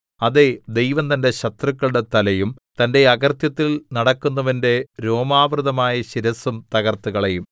അതേ ദൈവം തന്റെ ശത്രുക്കളുടെ തലയും തന്റെ അകൃത്യത്തിൽ നടക്കുന്നവന്റെ രോമാവൃതമായ ശിരസ്സും തകർത്തുകളയും